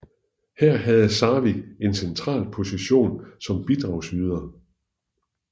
Her havde Sarvig en central position som bidragsyder